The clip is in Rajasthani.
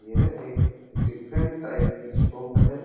यह एक डिफरेंट टाइप की शॉप है।